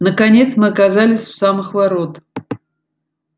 наконец мы оказались у самых ворот